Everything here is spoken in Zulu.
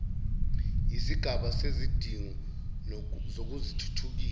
yisigaba sezidingo zokuthuthukisa